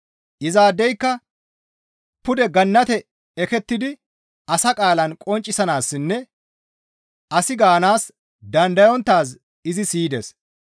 Izaadeyka pude Gannate ekettidi asa qaalan qonccisanaassinne asi gaanaas dandayonttaaz izi siyides.